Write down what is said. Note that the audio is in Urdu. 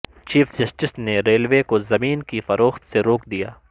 چیف جسٹس نے ریلوے کو زمین کی فروخت سے روک دیا